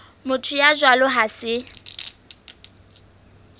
motho ya jwalo ha se